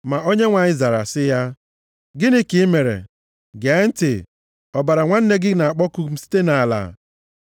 Ma Onyenwe anyị zara sị ya, “Gịnị ka i mere? Gee ntị, ọbara nwanne gị na-akpọku m site nʼala.